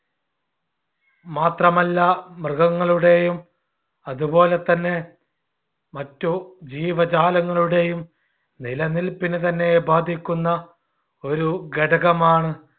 മാത്രമല്ല മൃഗങ്ങളുടെയും അതുപോലെതന്നെ മറ്റു ജീവജാലങ്ങളുടെയും നിലനിൽപ്പിന് തന്നെ ബാധിക്കുന്ന ഒരു ഘടകമാണ്.